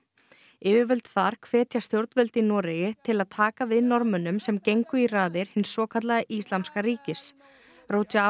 yfirvöld þar hvetja stjórnvöld í Noregi til að taka við Norðmönnum sem gengu í raðið hins svokallaða Íslamska ríkis